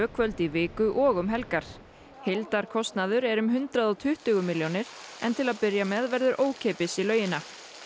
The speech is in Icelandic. kvöld í viku og um helgar heildarkostnaður er um hundrað og tuttugu milljónir en til að byrja með verður ókeypis í laugina